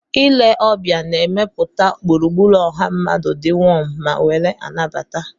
Ile ọbịa na-emepụta gburugburu ọha mmadụ di wom ma nwere anabata.